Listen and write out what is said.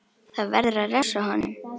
Það verður að refsa honum!